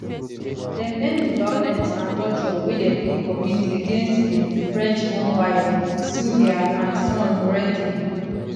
dem end di violence and torture wey dem dey commit against im frenchborn wife sylvia and son noureddi